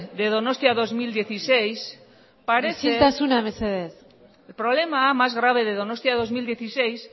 de donostia dos mil dieciséis parece isiltasuna mesedez el problema más grave de donostia dos mil dieciséis